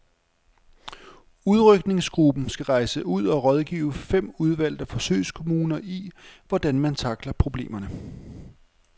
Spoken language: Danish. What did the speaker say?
Udrykningsgruppen skal rejse ud og rådgive fem udvalgte forsøgskommuner i, hvordan man tackler problemerne.